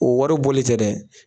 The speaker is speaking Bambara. O wari bɔli tɛ dɛ